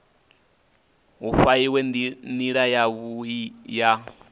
hu fhaiwe nila yavhui ya